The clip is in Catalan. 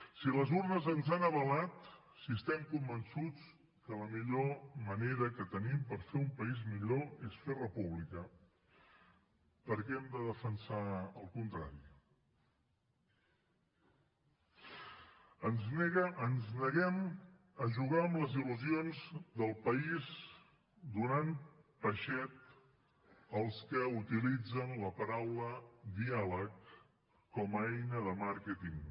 si les urnes ens han avalat si estem convençuts que la millor manera que tenim per fer un país millor és fer república per què hem de defensar el contrari ens neguem a jugar amb les il·lusions del país donant peixet als que utilitzen la paraula diàleg com a eina de màrqueting